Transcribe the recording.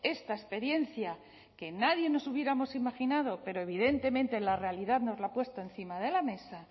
esta experiencia que nadie nos hubiéramos imaginado pero evidentemente la realidad nos la ha puesto encima de la mesa